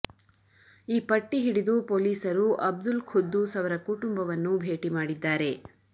ಈ ಪಟ್ಟಿ ಹಿಡಿದು ಪೊಲೀಸರು ಅಬ್ದುಲ್ ಖುದ್ದೂಸ್ ಅವರ ಕುಟುಂಬವನ್ನು ಭೇಟಿ ಮಾಡಿದ್ದಾರೆ